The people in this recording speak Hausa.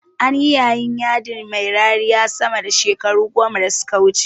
Anyi yayin yadi mai rariya sama da shekaru goma da suka wuce